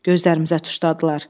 Gözlərimizə tuşladılar.